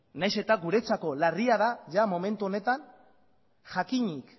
nahiz eta guretzako larria da momentu honetan jakinik